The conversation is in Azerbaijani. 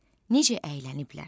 Necə əylənib?